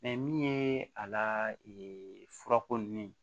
min ye a la furako nunnu